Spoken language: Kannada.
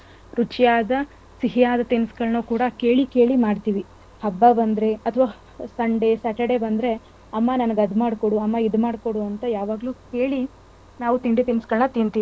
ರುಚಿಯಾದ ಸಿಹಿಯಾದ ತಿನಿಸುಗಳ್ಳನ್ನ ಕೂಡ ಕೇಳಿ ಕೇಳಿ ಮಾಡ್ತೀವಿ. ಹಬ್ಬ ಬಂದ್ರೆ ಅಥ್ವಾ sunday saturday ಬಂದ್ರೆ ಅಮ್ಮ ನನಗ್ ಅದ್ ಮಾಡ್ಕೊಡು ಇದ್ ಮಾಡ್ಕೊಡು ಅಂತ ಯಾವಾಗ್ಲೂ ಕೇಳಿ ನಾವು ತಿಂಡಿ ತಿನ್ಸ್ಗಳ್ನ ತಿಂತೀವಿ.